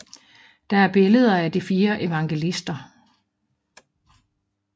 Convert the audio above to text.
Der er billeder af de fire evangelister